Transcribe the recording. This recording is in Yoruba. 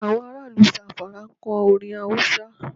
Àwọn ará ìlú Zamfara ń kọ orin Hausa.